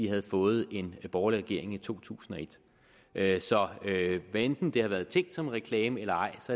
havde fået en borgerlig regering i to tusind og et så hvad enten det har været tænkt som en reklame eller ej